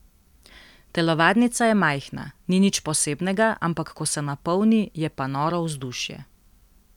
Telovadnica je majhna, ni nič posebnega, ampak ko se napolni, je pa noro vzdušje.